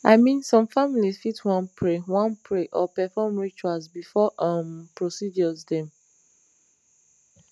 i mean some families fit wan pray wan pray or perform rituals before um procedures dem